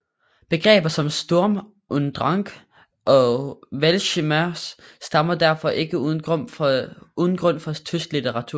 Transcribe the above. Begreber som Sturm und Drang og Weltschmerz stammer derfor ikke uden grund fra tysk litteratur